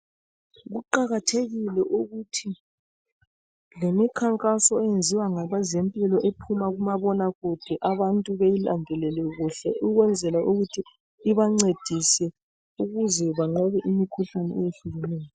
Kuqakathekile ukuthi lemikhankaso eyenziwa ngabezempilo ephuma kumabonakude abantu beyilandelele kuhle ukwenzela ukuthi ibancedise ukuze banqobe imikhuhlane eyehlukeneyo.